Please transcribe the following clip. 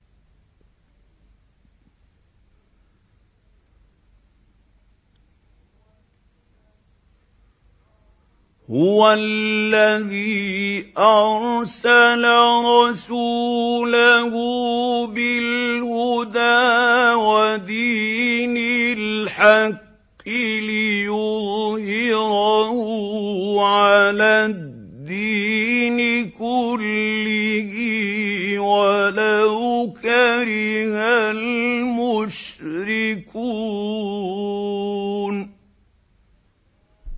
هُوَ الَّذِي أَرْسَلَ رَسُولَهُ بِالْهُدَىٰ وَدِينِ الْحَقِّ لِيُظْهِرَهُ عَلَى الدِّينِ كُلِّهِ وَلَوْ كَرِهَ الْمُشْرِكُونَ